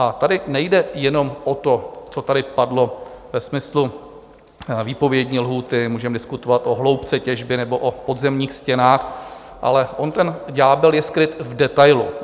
A tady nejde jenom o to, co tady padlo ve smyslu výpovědní lhůty, můžeme diskutovat o hloubce těžby nebo o podzemních stěnách, ale on ten ďábel je skryt v detailu.